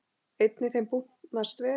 Einnig þeim búnast vel.